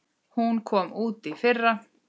Hún kom út í fyrra.